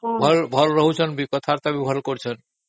ହଁ ହଁ କଥାବାର୍ତା ବି ଭଲ କରୁଛନ୍ତି